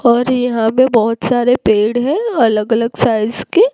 और यहां पे बहुत सारे पेड़ है अलग अलग साइज के।